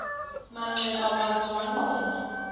manxeba waza wagquma